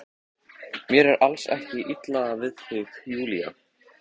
Mér er alls ekkert illa við þig Júlía.